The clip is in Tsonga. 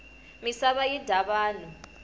misava yi dya vanhu